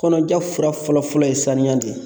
Kɔnɔja fura fɔlɔ fɔlɔ ye sanuya de ye